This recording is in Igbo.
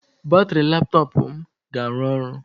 Batrị laptọọpụ m ga-arụ ọrụ.